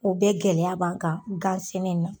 O bɛɛ gɛlɛya b'an kan gan sɛnɛ in na.